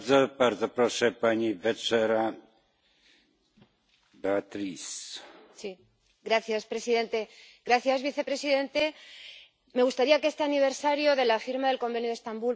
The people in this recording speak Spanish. Señor presidente, señor vicepresidente, me gustaría que este aniversario de la firma del Convenio de Estambul por la Unión Europea fuera motivo de celebración, pero me temo que es motivo de denuncia.